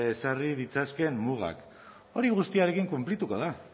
ezarri ditzakeen mugak hori guztiarekin kunplituko da